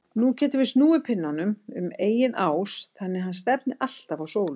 Nú getum við snúið pinnanum um eigin ás þannig að hann stefni alltaf á sólu.